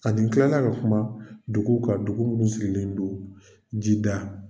Ani n kilala ka kuma dugu kan dugu minnu sigilen do ji da.